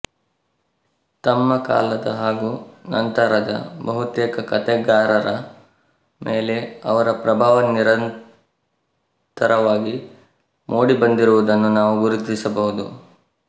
ತಮ್ಮ ಕಾಲದ ಹಾಗೂ ನಂತರದ ಬಹುತೇಕ ಕಥೆಗಾರರ ಮೇಲೆ ಅವರ ಪ್ರಭಾವ ನಿರಂತರವಾಗಿ ಮೂಡಿಬಂದಿರುವುದನ್ನು ನಾವು ಗುರುತಿಸಬಹುದು